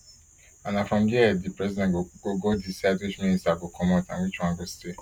and na from dia di president go go decide which minister go comot and which one go stay